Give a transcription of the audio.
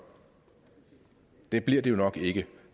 det bliver det jo nok ikke